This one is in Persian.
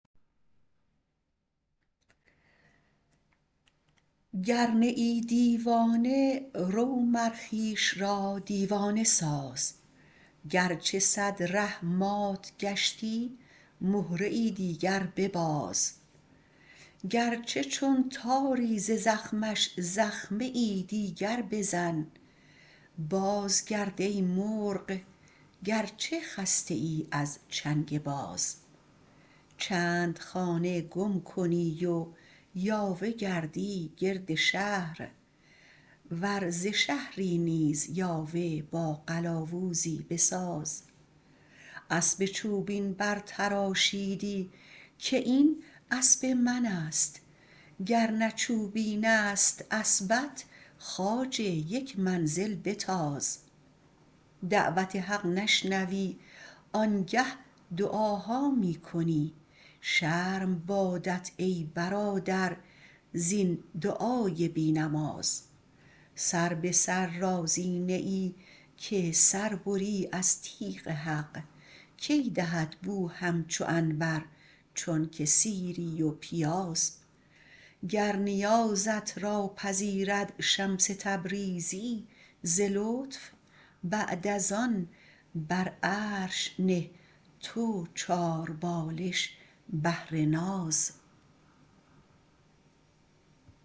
گر نه ای دیوانه رو مر خویش را دیوانه ساز گرچه صد ره مات گشتی مهره دیگر بباز گرچه چون تاری ز زخمش زخمه دیگر بزن بازگرد ای مرغ گرچه خسته ای از چنگ باز چند خانه گم کنی و یاوه گردی گرد شهر ور ز شهری نیز یاوه با قلاوزی بساز اسب چوبین برتراشیدی که این اسب منست گر نه چوبینست اسبت خواجه یک منزل بتاز دعوت حق نشنوی آنگه دعاها می کنی شرم بادت ای برادر زین دعای بی نماز سر به سر راضی نه ای که سر بری از تیغ حق کی دهد بو همچو عنبر چونک سیری و پیاز گر نیازت را پذیرد شمس تبریزی ز لطف بعد از آن بر عرش نه تو چاربالش بهر ناز